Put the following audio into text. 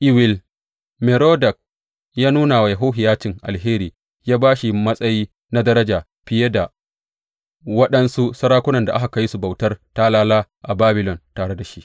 Ewil Merodak ya nuna wa Yehohiyacin alheri, ya ba shi matsayi na daraja fiye da waɗansu sarakunan da aka kai su bautar talala a Babilon tare da shi.